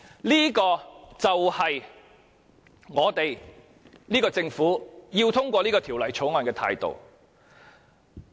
這個就是這個政府要通過《條例草案》的態度。